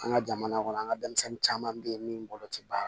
An ka jamana kɔnɔ an ka denmisɛnnin caman bɛ yen min bolo tɛ baara